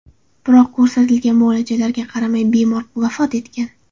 Biroq ko‘rsatilgan muolajalarga qaramay bemor vafot etgan.